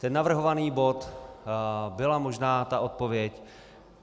Tento navrhovaný bod byla možná ta odpověď.